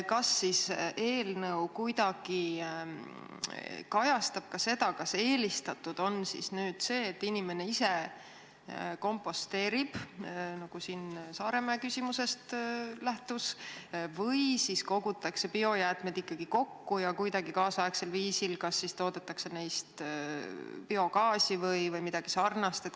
Kas eelnõu kuidagi kajastab ka seda, kas eelistatud on see, et inimene ise komposteerib, nagu Saaremäe küsimusest läbi käis, või siis tahetakse biojäätmed ikkagi kokku koguda ja kuidagi kaasaegsel viisil neist toota biogaasi või midagi sarnast?